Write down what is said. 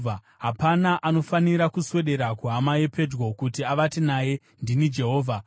“ ‘Hapana anofanira kuswedera kuhama yepedyo kuti avate naye. Ndini Jehovha.